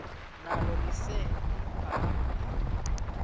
nalo lise libaha